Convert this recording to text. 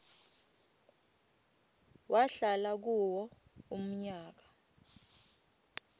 wahlala kuwo umnyaka